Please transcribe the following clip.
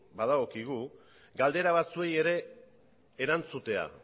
badagokigu galdera batzuei ere erantzutea